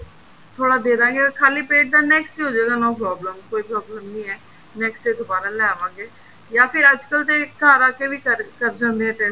ਥੋੜਾ ਦੇਦਾਗੇ ਖ਼ਾਲੀ ਪੇਟ ਦਾ next ਹੋ ਜਾਏਗਾ no problem ਕੋਈ problem ਨਹੀਂ ਹੈ next day ਦੁਬਾਰਾ ਲੈ ਆਵਾਂਗੇ ਜਾਂ ਫਿਰ ਅੱਜਕਲ ਤੇ ਘਰ ਆ ਕੇ ਵੀ ਕਰ ਜਾਂਦੇ ਆ test